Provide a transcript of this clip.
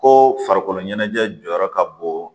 Ko farikolo ɲɛnajɛ jɔyɔrɔ ka bon